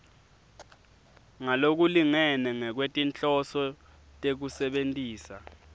ngalokulingene ngekwetinhloso tekusebentisa